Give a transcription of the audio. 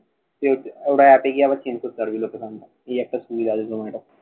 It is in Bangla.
তুই ওটা এপে গিয়ে আবার change করতে পারবি location টা। এই একটা সুবিধা আছে তোমার একটা।